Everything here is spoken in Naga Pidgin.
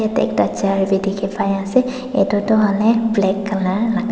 yate ekta chair be dikhi pai ase etu tu hoile black colour laga--